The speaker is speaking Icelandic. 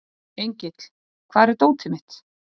Engill, hvar er dótið mitt?